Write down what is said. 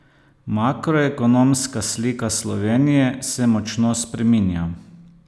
Makroekonomska slika Slovenije se močno spreminja.